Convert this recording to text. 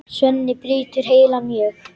Svenni brýtur heilann mjög.